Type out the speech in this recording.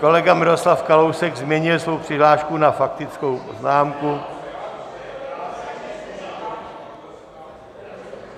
Kolega Miroslav Kalousek změnil svou přihlášku na faktickou poznámku.